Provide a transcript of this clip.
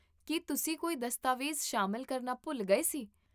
ਕੀ ਤੁਸੀਂ ਕੋਈ ਦਸਤਾਵੇਜ਼ ਸ਼ਾਮਿਲ ਕਰਨਾ ਭੁੱਲ ਗਏ ਸੀ?